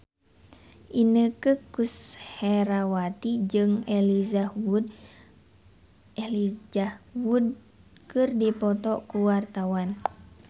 Inneke Koesherawati jeung Elijah Wood keur dipoto ku wartawan